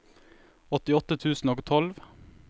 åttiåtte tusen og tolv